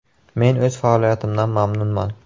“Men o‘z faoliyatimdan mamnunman.